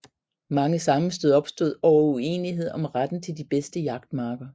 Mange sammenstød opstod over uenighed om retten til de bedste jagtmarker